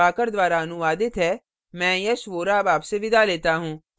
यह स्क्रिप्ट प्रभाकर द्वारा अनुवादित है मैं यश वोरा अब आपसे विदा लेता हूँ